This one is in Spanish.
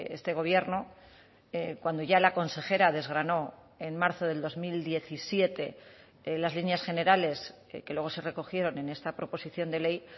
este gobierno cuando ya la consejera desgranó en marzo del dos mil diecisiete las líneas generales que luego se recogieron en esta proposición de ley